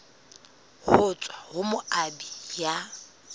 ho tswa ho moabi ya